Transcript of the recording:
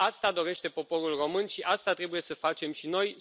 Asta dorește poporul român și asta trebuie să facem și noi.